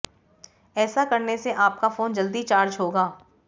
ऐसा करने से आपका फोन जल्दी चार्ज होगा